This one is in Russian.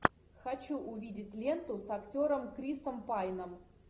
хочу увидеть ленту с актером крисом пайном